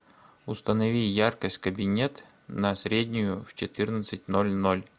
установи яркость кабинет на среднюю в четырнадцать ноль ноль